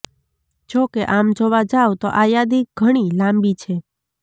જોકે આમ જોવા જાવતો આ યાદી ઘણી લાંબી છે